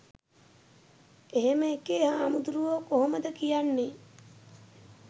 එහම එකේ හාමුදුරුවෝ කොහොමද කියන්නේ